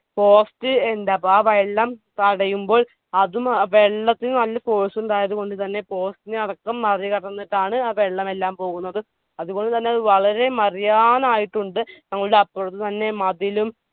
post ഇണ്ട് അപ്പൊ ആ വെള്ളം തടയുമ്പോൾ അതും ആ വെള്ളത്തിന് നല്ല force ഉണ്ടായതുകൊണ്ട് തന്നെ post നെ അടക്കം മറികടന്നിട്ടാണ് ആ വെള്ളമെല്ലാം പോകുന്നത്. അതുപോലെതന്നെ അത് വളരെ മറിയാനായിട്ടുണ്ട് ഞങ്ങളുടെ അപ്പുറം തന്നെ മതിലും